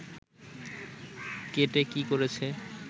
কেটে কী করেছে